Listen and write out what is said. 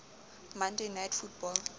monday night football